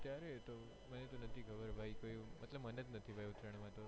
ત્યારે તો મને નથી ખબર ભાઈ મનેજ નથી ખબર ઉતરાયણ મા તો